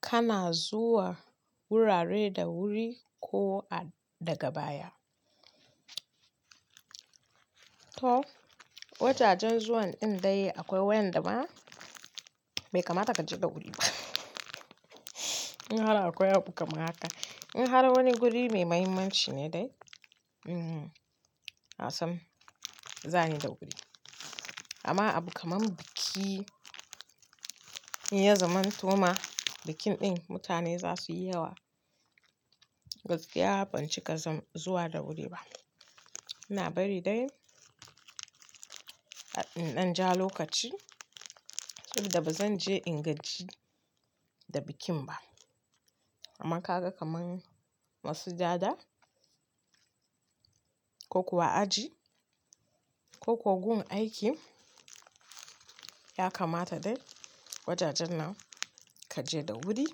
Kana zuwa wurare da wuri ko a daga baya? To, wajajen zuwan ɗin dai akwai wanda ba, bai kamata ka je da wuri ba. In har akwai abu kamar haka, in har wani guri mai mahimmanci ne dai, hmm, asan, zani da wuri. Amma abu kamar biki, in ya zamanto ma bikin ɗin mutane za su yi yawa, gaskiya ban cika san zuwa da wuri ba. Ina bari dai, in ɗan ja lokaci, yadda ba zan je ingaji da bikin ba. Amma ka ga kamar masujada ko kuwa aji ko ko gun aiki, ya kamata dai wajajen nan ka je da wuri,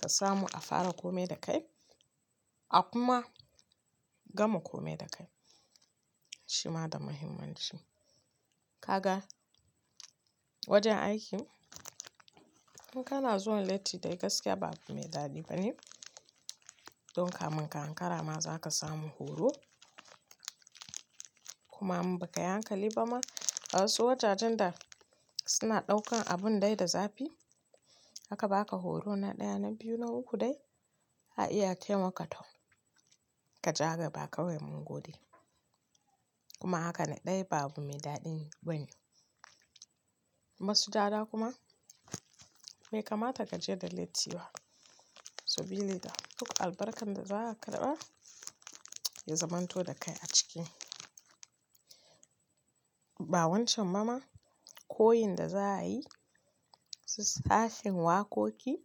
ka samu a fara kome da kai, a kuma gama kome da kai. Shi ma da mahimmanci. Ka ga wajen aiki, in kana zuwa latti dai gaskiya ba abu mai daɗi bane. Don kamun ka ankara ma za ka samu horo. Kuma in ba ka hankali ba ma, a wasu wajajen da suna ɗaukan abun dai da zafi, haka ba ka horo na ɗaya, na biyu, na uku dai, a iya taimaka toh ka ja ga ba kawai mun gode. Kuma haka na ɗaya babu mai daɗi bane. Masujada kuma bai kamata ka je da latti ba. Saboda duk albarkar da za ka raba ya zamanto da kai a ciki. Ba wancan ba ma, koyin da za a yi, su sashen waƙoƙi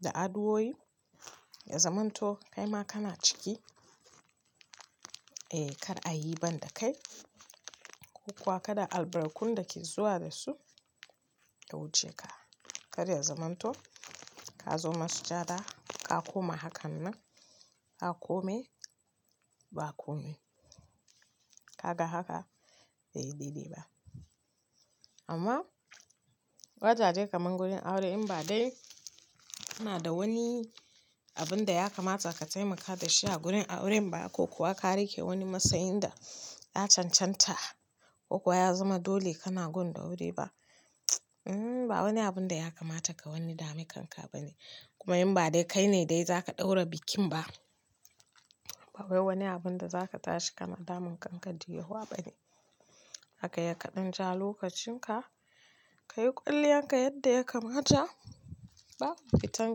da addu'o'i, ya zamanto kai ma kana ciki, eh kar a yi ban da kai ko kuwa kada albarkun da ke zuwa da su ya wuce ka. Kar ya zamanto ka zo masujada ka koma hakan nan, aka kome ba kome. Ka ga haka bai yi daidai ba. Amma wajaje kamar wurin aure in ba dai, kana da wani abun da ya kamata ka taimaka da shi a gurin aure ba ko kuwa ka riƙe wani matsayin da ya cancanta ko kuwa ya zama dole kana gun da wuri ba, hmm, ba wani abun da ya kamata ka wani dami kanka ba ne. Kuma in ba dai kai ne dai za ka ɗaura bikin ba, ba wai wani abun da za ka tashi kana damun kanka da yawa ba ne. Haka ya ka ɗan ja lokacin ka, ka yi ƙulliyan ka yadda ya kamata, babu fitan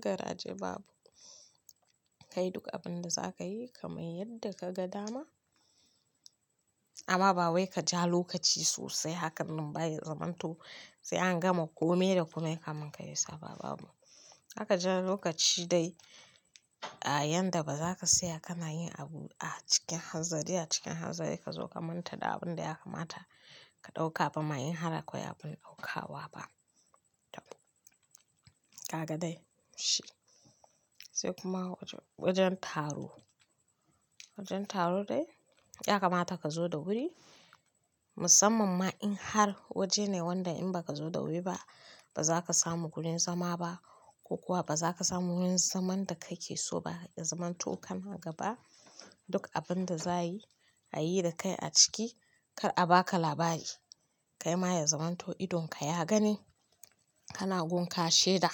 garaje babu. Kai duk abun da za ka yi kamar yadda ka ga dama. Amma ba wai ka ja lokaci sosai hakan nan baya zamanto sai an gama kome da kome kamin ka yi saɓa babu. Haka ja lokaci dai a yadda ba za ka tsaya kana yin abu a cikin hanzari a cikin hanzari ka zo ka manta da abun da ya kamata ka ɗauka ba ma in har akwai abin ɗaukawa ba. Tabb. Ka ga dai? Shi. Sai kuma wajen taro. Wajen taro dai ya kamata ka zo da wuri, musamman ma in har waje ne wanda in ba ka zo da wuri ba, ba za ka samu gurin zama ba ko kuwa ba za ka samu wurin zaman da kake so ba. Ya zamanto kana gaba duk abun da za a yi, a yi da kai a ciki kar a baka labari. Kai ma ya zamanto idon ka ya gani, kana gun kashe da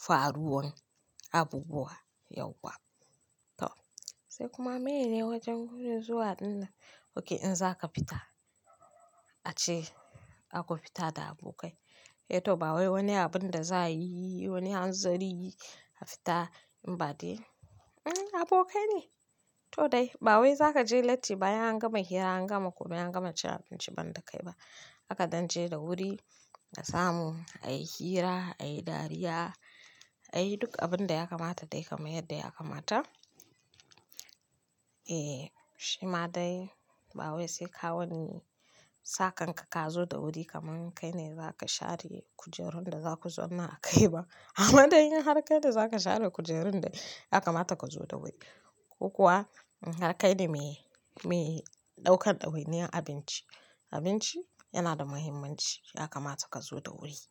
faruwan abubuwa yauwa. To. Sai kuma mene ne wajen wurin zuwa dinnan. Oke in za ka fita, ace aka fita da abokai. Eh to ba wai wani abun da za a yi, wani hanzari a fita in ba dai, hmm abokai ne. To dai ba wai za ka je latti bayan an gama hira, an gama komai, an gama cin abinci ban da kai ba. Haka dan je da wuri ka samu, a yi hira, a yi dariya, a yi duk abun da ya kamata dai kamar yadda ya kamata. Eh, shi ma dai ba wai sai ka wani saƙan ka ka zo da wuri kamar kai ne za ka share kujerun da za ku zauna a kai ba. Amma dai in har kai ne za ka share kujerun dai ya kamata ka zo da wuri. Ko kuwa har kai ne mai, mai ɗaukar ɗawainiyar abinci. Abinci yana da muhimmanci ya kamata ka zo da wuri.